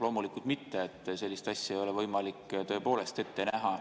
Loomulikult mitte, sellist asja ei ole võimalik ette näha.